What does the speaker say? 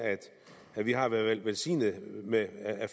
at vi har været velsignet med